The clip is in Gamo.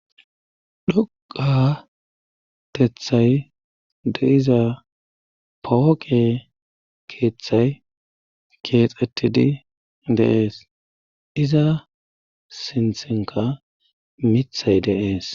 dhoqatethay de iza pooqe keeththay keexetidi deees iza sinthinka mithay deees